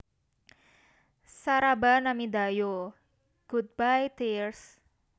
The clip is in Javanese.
Saraba Namida Yo / Goodbye Tears